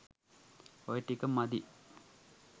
ඔය ටික මදි.